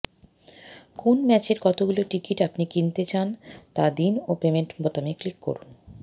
কোন ম্যাচের কতগুলো টিকিট আপনি কিনতে চান তা দিন ও পেমেন্ট বোতামে ক্লিক করুন